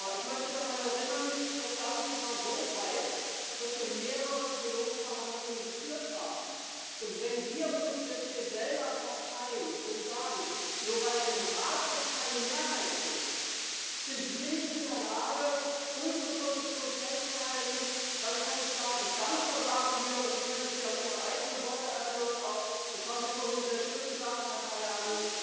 Ich möchte daran erinnern Das Ganze war so reif, dass wir mehrere Trilogverhandlungen geführt haben. Und wenn wir uns jetzt hier selber kasteien und sagen Nur weil es im Rat keine Mehrheit gibt, sind wir nicht in der Lage, unseren Standpunkt festzuhalten, da kann ich sagen Dann versagen wir! Und ich möchte Sie an Ihre eigenen Worte erinnern das haben Sie vorhin sehr schön gesagt, Herr Tajani